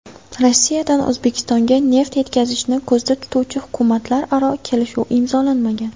Rossiyadan O‘zbekistonga neft yetkazishni ko‘zda tutuvchi hukumatlararo kelishuv imzolanmagan.